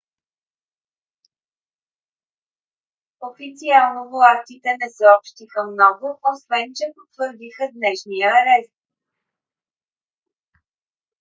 официално властите не съобщиха много освен че потвърдиха днешния арест